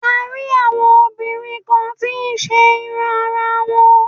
A rí àwọn obìnrin kan tí ń ṣe irun ara wọn.